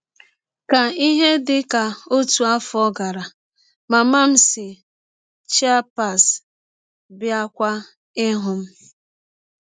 Ka ihe dị ka ọtụ afọ gara, mama m si Chiapas bịakwa ịhụ m.